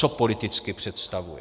Co politicky představuje?